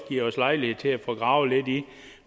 givet os lejlighed til at få gravet lidt i